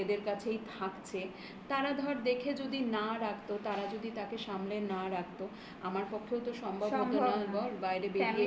কাছেই থাকছে. তারা ধর দেখে যদি না রাখতো তারা যদি তাকে সামলে না রাখতো আমার পক্ষেও তো সম্ভব হতো না বল.